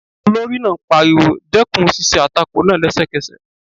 Olórí náà pariwo, dẹ́kun ṣíṣe àtakò náà lẹ́sẹ̀kẹsẹ̀